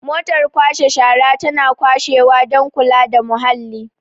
motar kwashe shara tana kwashewa don kula da muhalli